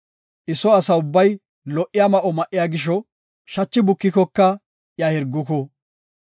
I soo asa ubbay ho77iya ma7o ma7iya gisho, shachi bukikoka iya hirguku.